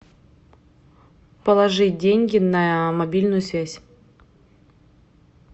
положи деньги на мобильную связь